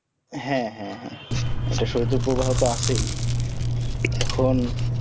হ্যা হ্যা হ্যা এটা সৌদিতে ও ধরোতো আছেই এখন